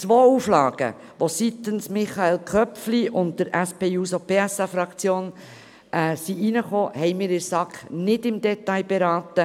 Die zwei Auflagen, die von Michael Köpfli sowie von der SP-JUSO-PSA-Fraktion eingebracht wurden, haben wir in der SAK nicht im Detail beraten.